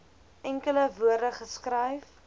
enkele woorde geskryf